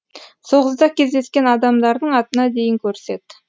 соғыста кездескен адамдардың атына дейін көрсет